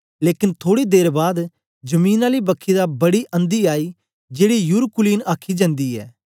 लेकन थोड़ी देर बाद जमीन आली बखी दा बड़ी अंधी आई जेड़ी यूरकुलिन आखी जंदी ऐ